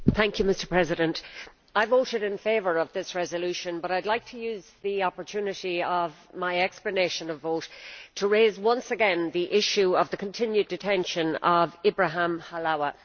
Mr President, I voted in favour of this resolution, but I would like to use the opportunity of my explanation of vote to raise once again the issue of the continued detention of Ibrahim Halawa.